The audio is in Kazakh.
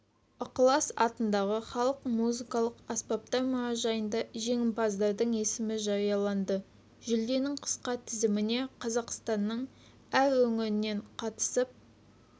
ықылас атындағы халық музыкалық аспаптар мұражайында жеңімпаздардың есімі жарияланды жүлденің қысқа тізіміне қазақстанның әр өңірінен қатысып